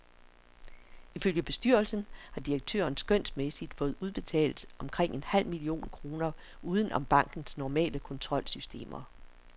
Ifølge bestyrelsen har direktøren skønsmæssigt fået udbetalt omkring en halv million kroner uden om bankens normale kontrolsystemer.